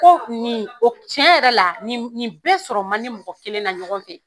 Ko nin o tiɲɛ yɛrɛ la nin nin bɛɛ sɔrɔ man di mɔgɔ kelen na ɲɔgɔn fɛ.